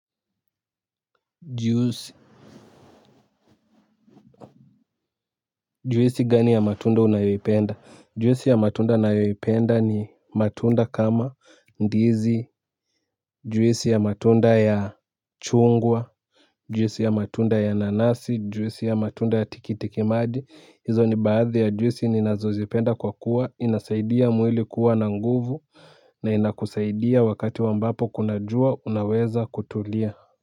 Juicy. Juisi gani ya matunda unayoyipenda? Juisi ya matunda nayoyipenda ni, matunda kama ndizi juisi ya matunda ya, chungwa juisi ya matunda ya nanasi, juisi ya matunda ya tikitikimaji, hizo ni baadhi ya juisi ni nazozipenda kwa kuwa inasaidia mwili kuwa na nguvu, na inakusaidia wakati wa ambapo kuna jua, unaweza kutulia.